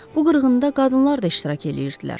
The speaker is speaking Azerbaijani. Bu qırğında qadınlar da iştirak eləyirdilər.